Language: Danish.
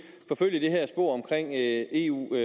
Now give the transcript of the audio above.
forfølge det her spor om eu